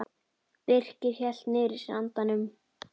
Birkir hélt niðri í sér andanum.